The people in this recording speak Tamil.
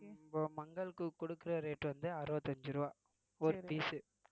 இப்போ மங்களுக்கு குடுக்குற rate வந்து அறுபத்தி அஞ்சு ரூபாய் ஒரு piece உ